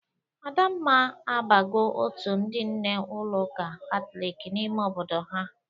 Adamma abago otu ndị nne ụlọ ụka katọlik n'ime obodo ha.